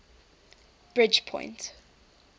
bridgepoint